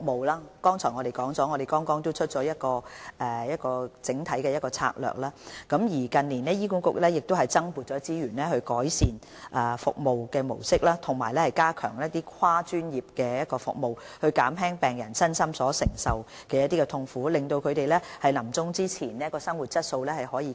正如我剛才提及，我們剛制訂整體的《策略》，而醫管局近年亦已增撥資源，以改善服務模式及加強跨專業服務，從而減輕病人身心所承受的痛苦，令他們臨終前的生活質素得以改善。